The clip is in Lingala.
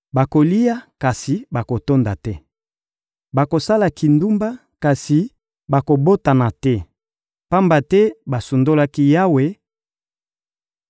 Bakolia, kasi bakotonda te; bakosala kindumba, kasi bakobotana te; pamba te basundolaki Yawe